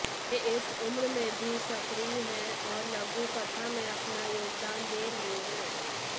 वे इस उम्र में भी सक्रिय हैं और लघुकथा में अपना योगदान दे रही हैं